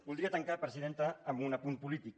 voldria tancar presidenta amb un apunt polític